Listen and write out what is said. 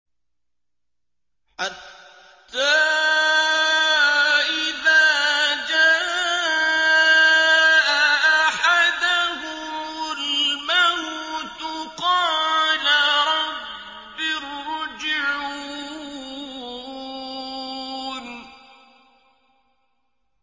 حَتَّىٰ إِذَا جَاءَ أَحَدَهُمُ الْمَوْتُ قَالَ رَبِّ ارْجِعُونِ